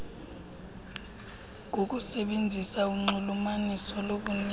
ngokusebenzisa unxulumaniso lokunika